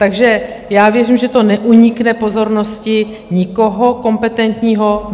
Takže já věřím, že to neunikne pozornosti nikoho kompetentního.